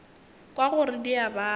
kwa gore di a baba